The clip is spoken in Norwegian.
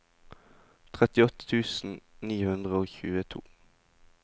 trettiåtte tusen ni hundre og tjueto